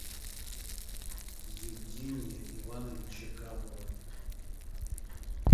евгения ивановича габова